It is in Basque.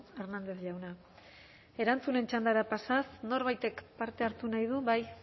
hernández jauna erantzunen txandara pasatuz norbaitek parte hartu nahi du bai